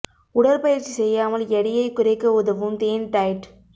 உடற் பயிற்சி செய்யாமல் எடையை குறைக்க உதவும் தேன் டயட்